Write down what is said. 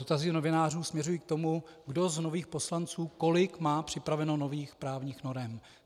Dotazy novinářů směřují k tomu, kdo z nových poslanců kolik má připraveno nových právních norem.